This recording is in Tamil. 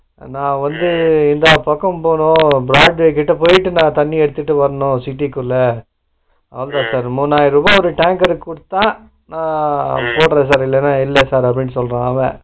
நா வந்து எல்லா பக்கமும் போனு broadway கிட்ட போயிட்டு தண்ணிய எடுத்துட்டு வரணும் city க்குள்ள முவாயிருவா ஒரு tanker க்கு கொடுத்தா நான் போடுறேன் sir இல்லனா இல்ல sir அப்பிடின்னு சொல்லுறான்